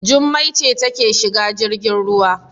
Jummai ce take shiga jirgin ruwa.